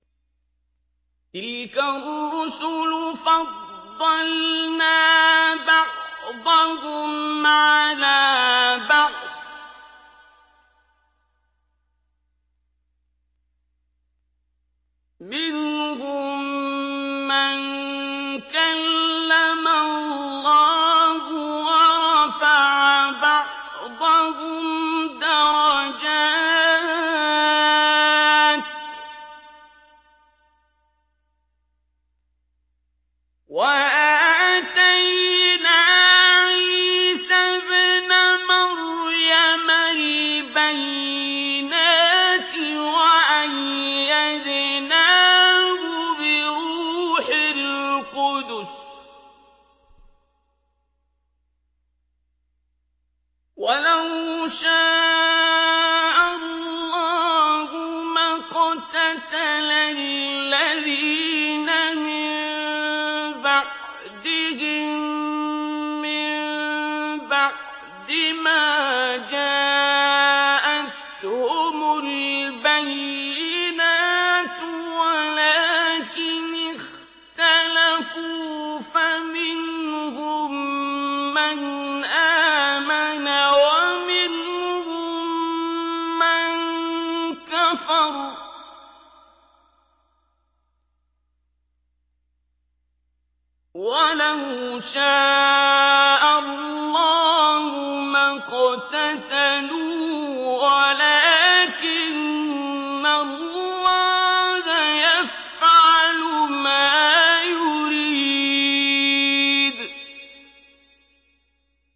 ۞ تِلْكَ الرُّسُلُ فَضَّلْنَا بَعْضَهُمْ عَلَىٰ بَعْضٍ ۘ مِّنْهُم مَّن كَلَّمَ اللَّهُ ۖ وَرَفَعَ بَعْضَهُمْ دَرَجَاتٍ ۚ وَآتَيْنَا عِيسَى ابْنَ مَرْيَمَ الْبَيِّنَاتِ وَأَيَّدْنَاهُ بِرُوحِ الْقُدُسِ ۗ وَلَوْ شَاءَ اللَّهُ مَا اقْتَتَلَ الَّذِينَ مِن بَعْدِهِم مِّن بَعْدِ مَا جَاءَتْهُمُ الْبَيِّنَاتُ وَلَٰكِنِ اخْتَلَفُوا فَمِنْهُم مَّنْ آمَنَ وَمِنْهُم مَّن كَفَرَ ۚ وَلَوْ شَاءَ اللَّهُ مَا اقْتَتَلُوا وَلَٰكِنَّ اللَّهَ يَفْعَلُ مَا يُرِيدُ